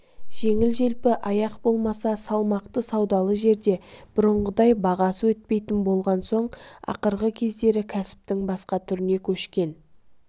жеңіл-желпі аяқ болмаса салмақты саудалы жерде бұрынғыдай бағасы өтпейтін болған соң ақырғы кездері кәсіптің басқа түріне көшкен